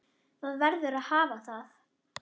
Það verður að hafa það.